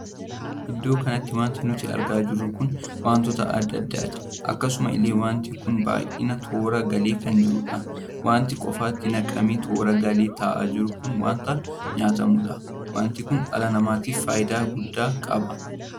Iddoo kanatti wanti nuti argaa jirru kun wantoota addaa addaati. akkasuma illee wanti kun baay'inaan toora galee kan jiruudha. wanti qofaatti naqamee toora galee taa'aa jiru kun wanta nyaatamuudha. wanti Kun dhala namaatiif faayidaa guddaa qaba.